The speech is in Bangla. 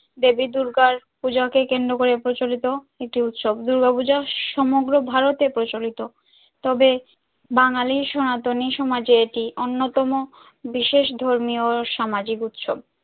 দেবী দূর্গার পুজোকে কেন্দ্র করে প্রচলিত একটি উৎসব দুর্গা পূজো সমগ্র ভারতে প্রচলিত তবে বাঙালির সনাতনী সমাজে এটি অন্যতম বিশেষ ধর্মীয় সামাজিক উৎসব।